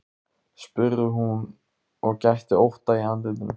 spurði hún og gætti ótta í andlitinu.